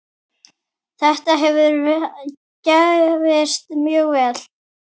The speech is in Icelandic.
Þetta hefur gefist mjög vel.